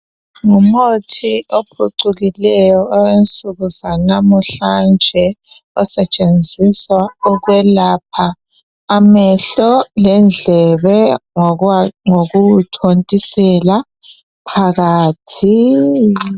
Ngumuthi ophucukileyo owensuku zanamuhlanje, osetshenziswa ukwelapha amehlo lendlebe ngokuwu thontisela phakathi.